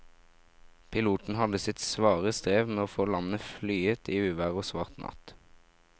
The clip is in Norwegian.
Piloten hadde sitt svare strev med å få landet flyet i uvær og svart natt.